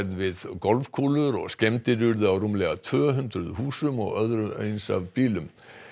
við golfkúlur og skemmdir urðu á rúmlega tvö hundruð húsum og öðru eins af bílum